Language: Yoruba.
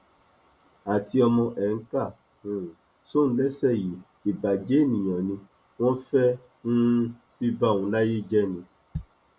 àti ọmọ ẹ ń kà um sóun léṣe yìí ìbàjẹ ènìyàn ni o wọn fẹẹ um fi ba òun láyé jẹ ni